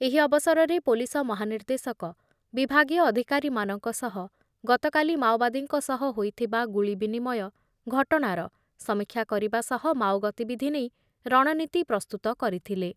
ଏହି ଅବସରରେ ପୋଲିସ ମହାନିର୍ଦ୍ଦେଶକ ବିଭାଗୀୟ ଅଧିକାରୀମାନଙ୍କ ସହ ଗତକାଲି ମାଓବାଦୀଙ୍କ ସହ ହୋଇଥିବା ଗୁଳି ବିନିମୟ ଘଟଣାର ସମୀକ୍ଷା କରିବା ସହ ମାଓ ଗତିବିଧି ନେଇ ରଣନୀତି ପ୍ରସ୍ତୁତ କରିଥିଲେ ।